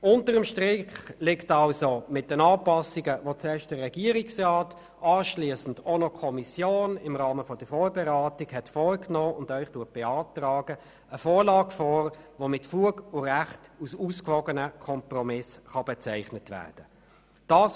Unter dem Strich liegt also mit den Anpassungen, die zuerst der Regierungsrat und anschliessend die Kommission im Rahmen der Vorberatung vorgenommen hat und Ihnen nun beantragt, eine Vorlage vor, die mit Fug und Recht als ausgewogener Kompromiss bezeichnet werden kann.